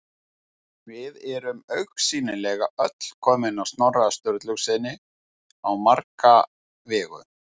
Við erum augsýnilega öll komin af Snorra Sturlusyni á marga vegu.